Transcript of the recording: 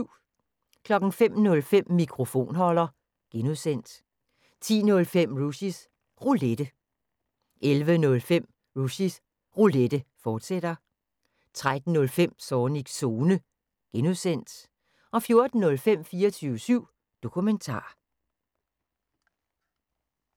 05:05: Mikrofonholder (G) 10:05: Rushys Roulette 11:05: Rushys Roulette, fortsat 13:05: Zornigs Zone (G) 14:05: 24syv Dokumentar